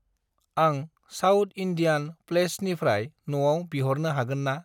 आंं South Indian प्लैसनिफ्राय न'आव बिह'रनो हागोन ना?